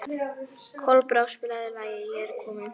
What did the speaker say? Kolbrá, spilaðu lagið „Ég er kominn“.